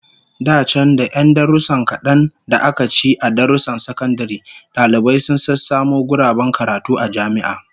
Da can, da 'yan darussan kadan da aka ci a darussan sakandare, dalibai sun sassamu guraben karatu a jami'a